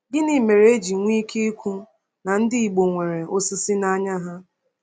Gịnị mere e ji nwee ike ikwu na ndị Igbo nwere “osisi n’anya ha”?